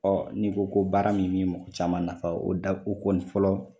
Ɔ n'i ko ko baara min be mɔgɔ caman nafa o da o kɔni fɔlɔ